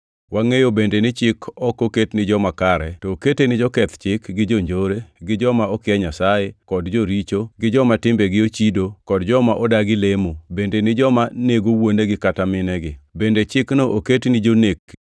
Wangʼeyo bende ni chik ok oket ni joma kare, to okete ni joketh chik gi jonjore; gi joma okia Nyasaye, kod joricho, gi joma timbegi ochido, kod joma odagi lemo; bende ni joma nego wuonegi kata minegi. Bende chikno oket ni jonek